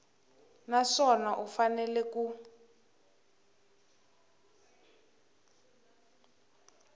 na swona u fanele ku